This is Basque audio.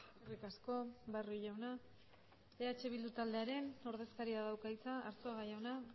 eskerrik asko barrio jauna eh bildu taldearen ordezkaria dauka hitza arzuaga jauna